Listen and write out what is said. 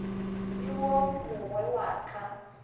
le wo mogwe wa ka